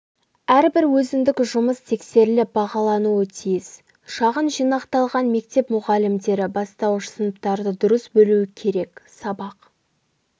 әрбір өзіндік жұмыс тексеріліп бағалануы тиіс шағын жинақталған мектеп мұғалімдері бастауыш сыныптарды дұрыс бөлуі керек сабақ